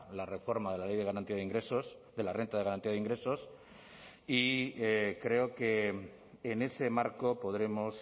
la reforma de la ley de garantía de ingresos de la renta de garantía de ingresos y creo que en ese marco podremos